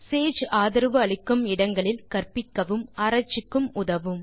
Sage ஆதரவு அளிக்கும் இடங்களில் கற்பிக்கவும் ஆராய்ச்சிக்கும் உதவும்